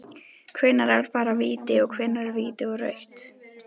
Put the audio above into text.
Hvenær er bara víti, og hvenær er víti og rautt??